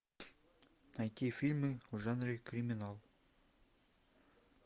найти фильмы в жанре криминал